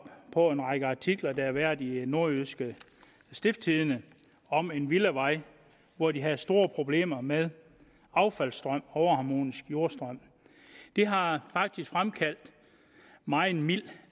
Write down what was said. på en række artikler der har været i nordjyske stiftstidende om en villavej hvor de havde store problemer med affaldsstrøm overharmonisk jordstrøm det har fremkaldt megen mild